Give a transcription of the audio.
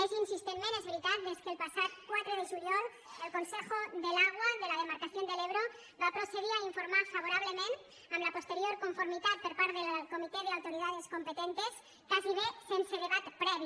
més insistentment és veritat des que el passat quatre de juliol el consejo del agua de la demarcación del ebro va procedir a informar favorablement amb la posterior conformitat per part del comité de autoridades competentes gairebé sense debat previ